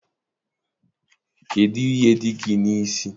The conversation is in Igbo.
Kedụ ihe dị gị n'isi?